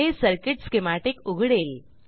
हे circuit schematic उघडेल